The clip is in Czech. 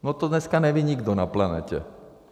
No to dneska neví nikdo na planetě.